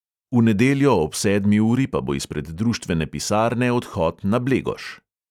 V nedeljo ob sedmi uri pa bo izpred društvene pisarne odhod na blegoš.